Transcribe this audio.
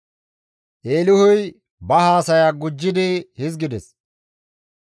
Eelihuy ba haasaya gujjidi hizgides;